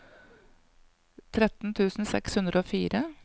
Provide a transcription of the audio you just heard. tretten tusen seks hundre og fire